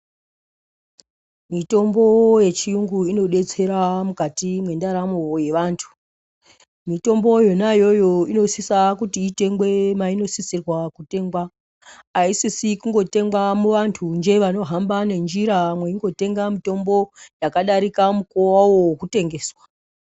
Mitombo yechiyungu inodetsera mukati mwendaramo yevantu. Mitombo yona iyoyo inosisa kuti itengwe mainosisirwa kutengwa. Aisisi kungotengwa muantunje anohamba nenjira mweingotenga mitombo yakadarika mukuwo wawo wekutengeswa.